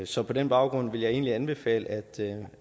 så på den baggrund vil jeg egentlig anbefale